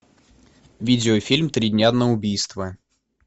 видеофильм три дня на убийство